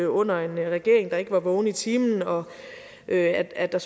under en regering der ikke er vågen i timen og at at der